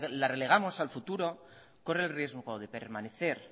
la relegamos al futuro corre el riesgo de permanecer